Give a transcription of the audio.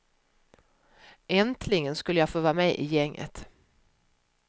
Äntligen skulle jag få vara med i gänget.